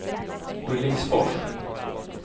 Skillingsfors